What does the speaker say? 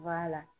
B'a la